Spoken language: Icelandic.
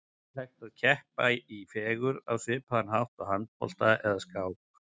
En er hægt að keppa í fegurð á svipaðan hátt og í handbolta eða skák?